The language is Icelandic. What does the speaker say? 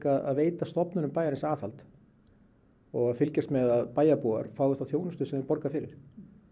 að veita stofnunum bæjarins aðhald og fylgjast með að bæjarbúar fái þá þjónustu sem þeir borga fyrir